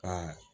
Ka